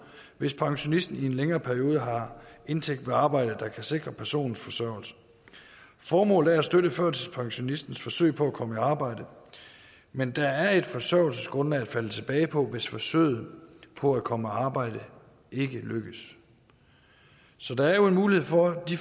hvis pensionisten i en længere periode har indtægt ved arbejde der kan sikre personens forsørgelse formålet er at støtte førtidspensionistens forsøg på at komme i arbejde men der er et forsørgelsesgrundlag at falde tilbage på hvis forsøget på at komme i arbejde ikke lykkes så der er jo en mulighed for de